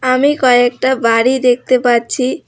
আমি কয়েকটা বাড়ি দেখতে পাচ্ছি।